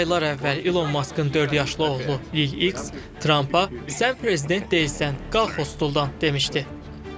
Hələ aylar əvvəl İlon Maskın dörd yaşlı oğlu Lig X Trampa sən prezident deyilsən, qalx hostuldandan demişdi.